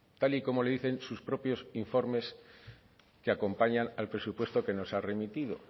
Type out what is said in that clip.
tal y como le dicen sus propios informes que acompaña al presupuesto que nos ha remitido